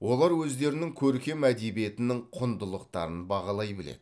олар өздерінің көркем әдебиетінің құндылықтарын бағалай біледі